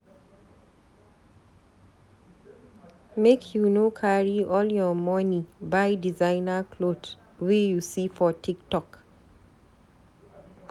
Make you no carry all your moni buy designer cloth wey you see for Tiktok.